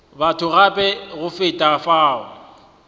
batho gape go feta fao